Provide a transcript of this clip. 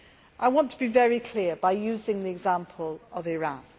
I want to be very clear here, using the example of Iran.